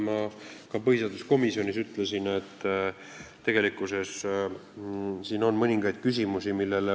Ma ka põhiseaduskomisjonis ütlesin, et tegelikkuses on siin mõningaid küsimusi.